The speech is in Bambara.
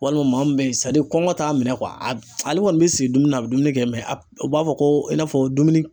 Walima maa min bɛ yen kɔngɔ t'a minɛ ale kɔni bɛ sigi dumuni na, a bɛ dumuni kɛ mɛ a u b'a fɔ ko i n'a fɔ dumuni